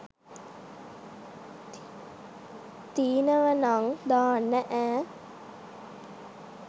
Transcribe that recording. තීනවනං දාන්න ඈ